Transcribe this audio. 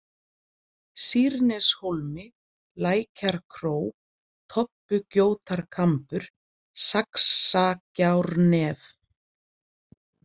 Sýrneshólmi, Lækjarkró, Tobbugjótarkambur, Saxagjárnef